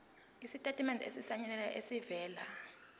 isitatimende esisayinelwe esivela